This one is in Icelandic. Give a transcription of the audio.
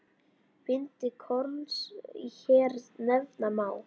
Bindi korns hér nefna má.